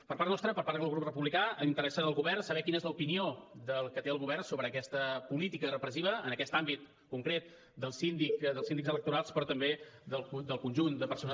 per part nostra per part del grup republicà interessa del govern saber quina és l’opinió que té el govern sobre aquesta política repressiva en aquest àmbit concret dels síndics electorals però també del conjunt de persones